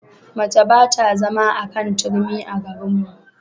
Mace ba ta zama a kan turmi a garinmu.